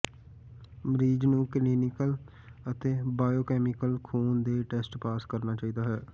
ਮਰੀਜ਼ ਨੂੰ ਕਲੀਨਿਕਲ ਅਤੇ ਬਾਇਓਕੈਮੀਕਲ ਖ਼ੂਨ ਦੇ ਟੈਸਟ ਪਾਸ ਕਰਨਾ ਚਾਹੀਦਾ ਹੈ